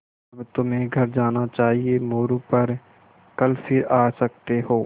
अब तुम्हें घर जाना चाहिये मोरू पर कल फिर आ सकते हो